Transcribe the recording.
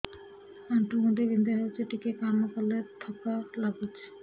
ଆଣ୍ଠୁ ଗଣ୍ଠି ବିନ୍ଧା ହେଉଛି ଟିକେ କାମ କଲେ ଥକ୍କା ଲାଗୁଚି